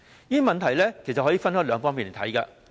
這問題其實可以分兩方面來看。